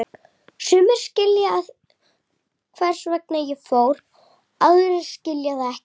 Sumir skilja hvers vegna ég fór, aðrir skilja það ekki.